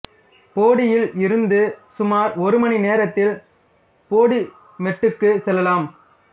போடியில் இருந்து சுமார் ஒரு மணி நேரத்தில் போடிமெட்டுக்கு செல்லலாம்